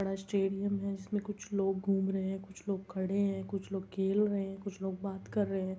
बड़ा स्टेडियम है। जिस में कुछ लोग घूम रहे हैं। कुछ लोग खड़े हैं। कुछ लोग खेल रहे हैं। कुछ लोग बात कर रहे हैं।